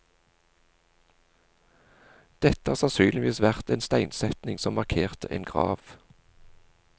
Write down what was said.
Dette har sannsynligvis vært en steinsetning som markerte en grav.